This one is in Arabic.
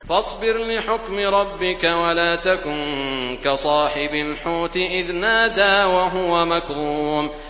فَاصْبِرْ لِحُكْمِ رَبِّكَ وَلَا تَكُن كَصَاحِبِ الْحُوتِ إِذْ نَادَىٰ وَهُوَ مَكْظُومٌ